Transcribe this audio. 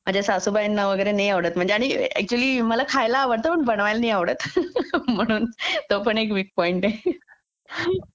माझ्या सासूबाईंना वगैरे नाही आवडत आणि ऍक्च्युली मला खायला आवडतं पण बनवायला नाही आवडत म्हणून तो पण एक वीक पॉईंट आहे